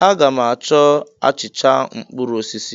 A ga m achọ achịcha mkpụrụ osisi.